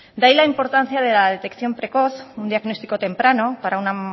de ahí la importancia de la detección precoz un diagnóstico temprano es una